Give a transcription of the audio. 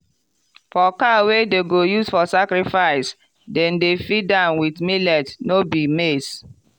for cow wey dem go use for sacrifice dem dey feed am with millet no be maize.